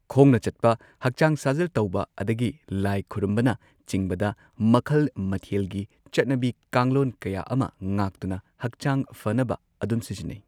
ꯈꯣꯡꯅ ꯆꯠꯄ ꯍꯛꯆꯥꯡ ꯁꯥꯖꯦꯜ ꯇꯧꯕ ꯑꯗꯒꯤ ꯂꯥꯏ ꯈꯨꯔꯨꯝꯕꯅ ꯆꯤꯡꯕꯗ ꯃꯈꯜ ꯃꯊꯦꯜꯒꯤ ꯆꯠꯅꯕꯤ ꯀꯥꯡꯂꯣꯟ ꯀꯌꯥ ꯑꯃ ꯉꯥꯛꯇꯨꯅ ꯍꯛꯆꯥꯡ ꯐꯅꯕ ꯑꯗꯨꯝ ꯁꯤꯖꯤꯟꯅꯩ